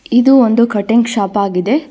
ಇದು ಒಂದು cutting shop ಆಗಿದೆ.